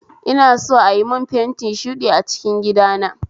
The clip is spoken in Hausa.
Ina so ayi mun fenti shuɗi a cikin gidana